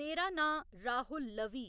मेरा नांऽ राहुल लवी